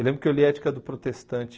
Eu lembro que eu li Ética do Protestante,